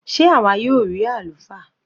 Sé àwa yóò rí àlùfáà?